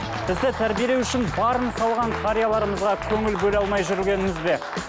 бізді тәрбиелеу үшін барын салған қарияларымызға көңіл бөле алмай жүргеніміз бе